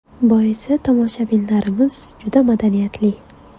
Boisi, tomoshabinlarimiz juda madaniyatli.